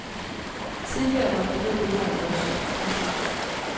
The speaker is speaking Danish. Tidligere måtte de ned på jorden først. punktum